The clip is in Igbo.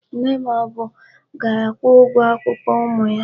Nne ma o bu ga-akwụ ụgwọ akwụkwọ ụmụ ya.